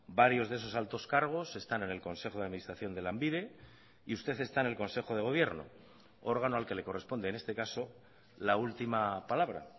varios de esos altos cargos están en el consejo de administración de lanbide y usted está en el consejo de gobierno órgano al que le corresponde en este caso la última palabra